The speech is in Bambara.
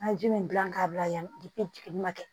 An ye ji min gilan k'a bila yan jiginni ma kɛ